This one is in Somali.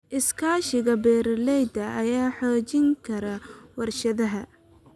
Iskaashiga beeralayda ayaa xoojin kara warshadaha.